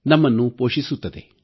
ನಮ್ಮನ್ನು ಪೋಷಿಸುತ್ತದೆ